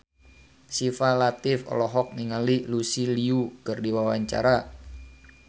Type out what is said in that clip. Syifa Latief olohok ningali Lucy Liu keur diwawancara